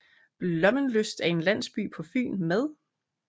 Blommenslyst er en landsby på Fyn med